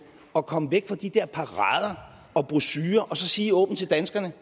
at komme væk fra de der parader og brochurer og så sige åbent til danskerne